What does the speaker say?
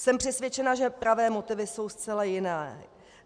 Jsem přesvědčena, že pravé motivy jsou zcela jiné.